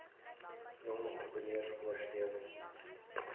jong entrepreneurs ondersteun